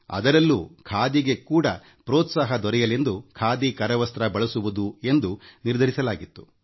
ಅದರಲ್ಲೂ ಖಾದಿಗೆ ಪ್ರೋತ್ಸಾಹ ದೊರೆಯಲೆಂದು ಖಾದಿ ಕರವಸ್ತ್ರ ಬಳಸುವುದು ಎಂದು ನಿರ್ಧರಿಸಿದ್ದೆ